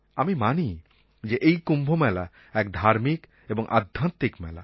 আমি মানি যে এই কুম্ভমেলা এক ধার্মিক এবং আধ্যাত্মিক মেলা